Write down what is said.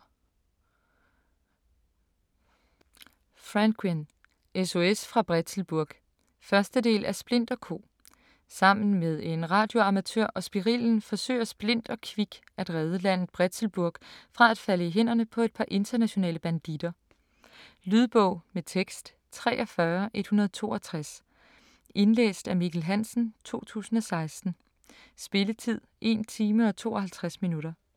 Franquin: SOS fra Bretzelburg 1. del af Splint & Co. Sammen med en radioamatør og Spirillen forsøger Splint og Kvik at redde landet Bretzelburg fra at falde i hænderne på et par internationale banditter. Lydbog med tekst 43162 Indlæst af Mikkel Hansen, 2016. Spilletid: 1 time, 52 minutter.